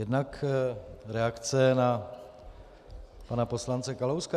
Jednak reakce na pana poslance Kalouska.